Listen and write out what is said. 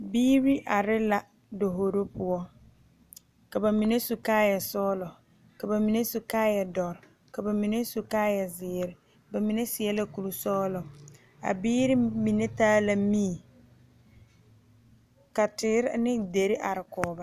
Biiri are la dahoro poɔ ka bamine su kaaya sɔglɔ ka bamine su kaaya doɔre ka bamine su kaaya ziiri bamine seɛ la kuri sɔglɔ a biiri mine taa la mie ka teere ne dire are kɔŋ ba.